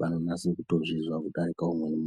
vanonase kutozvizwa kudarike umweni muntu.